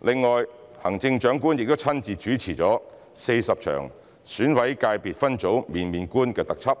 另外，行政長官亦親自主持了40場《選委界別分組面面觀》特輯，